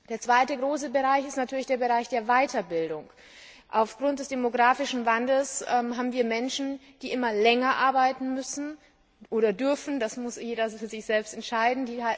Der zweite große Bereich ist natürlich der Bereich der Weiterbildung. Aufgrund des demografischen Wandels müssen die Menschen immer länger arbeiten oder sie dürfen länger arbeiten, das muss jeder für sich selbst entscheiden.